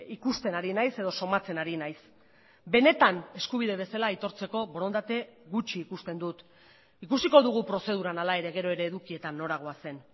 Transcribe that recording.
ikusten ari naiz edo somatzen ari naiz benetan eskubide bezala aitortzeko borondate gutxi ikusten dut ikusiko dugu prozeduran hala ere gero ere edukietan nora goazen